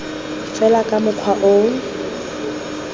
fela ka mokgwa o o